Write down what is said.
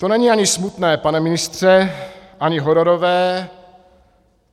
To není ani smutné, pane ministře, ani hororové.